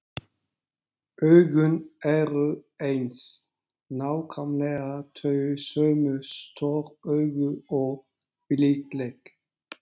Augun eru eins, nákvæmlega þau sömu, stór augu og blíðleg.